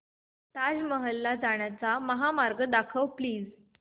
ताज महल ला जाण्याचा महामार्ग दाखव प्लीज